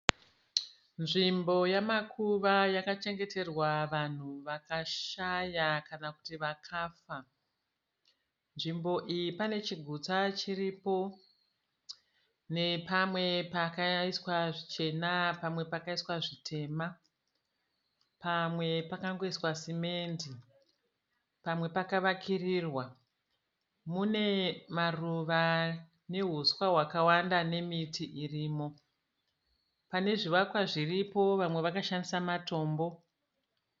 Nzvimbo yamakuva yakachengeterwa vanhu vakashaya kana kuti vakafa, nzvimbo iyi pane chigutsa chiripo nepamwe pakaiswa zvichena pamwe pakaiswa zvitema. Pamwe pakangoiswa simendi pamwe pakavakirirwa. Mune maruva nehuswa hwakawanda nemiti iripo pane zvivakwa vamwe vakashandisa matombo.